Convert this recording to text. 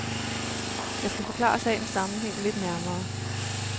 Jeg skal forklare sagens sammenhæng lidt nærmere.